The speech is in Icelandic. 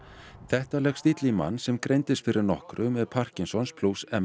þetta leggst illa í mann sem greindist fyrir nokkru með Parkinsons